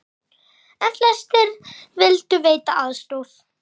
En flestir vildu veita aðstoð.